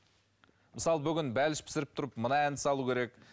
мысалы бүгін бәліш пысырып тұрып мына әнді салу керек